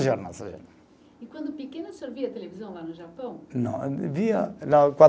E quando pequeno, o senhor via televisão lá no Japão? Não, via